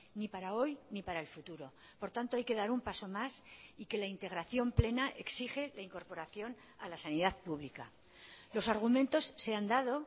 ni para hoy ni para el futuro por tanto hay que dar un paso más y que la integración plena exige la incorporación a la sanidad pública los argumentos se han dado